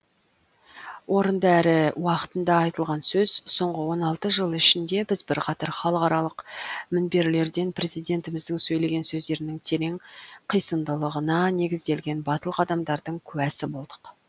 орынды әрі уақытында айтылған сөз соңғы он алты жыл ішінде біз бірқатар халықаралық мінберлерден президентіміздің сөйлеген сөздерінің терең қисындылығына негізделген батыл қадамдардың куәсі болдық